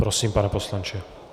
Prosím, pane poslanče.